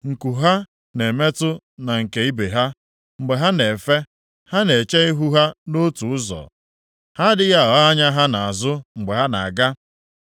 Nku ha na-emetụ na nke ibe ha. Mgbe ha na-efe, ha na-eche ihu ha nʼotu ụzọ, ha adịghị agha anya ha nʼazụ mgbe ha na-aga.